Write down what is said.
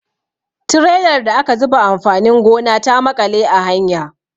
Trelar da aka zuba amfanin gona ta maƙale a hanya.